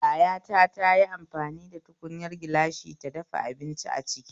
Yayata tayi amfani da tukunyar gilashi ta dafa abinci aciki